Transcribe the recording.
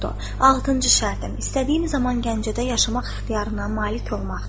Altıncı şərtim: istədiyim zaman Gəncədə yaşamaq ixtiyarına malik olmaqdır.